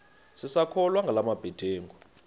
sisakholwa ngala mabedengu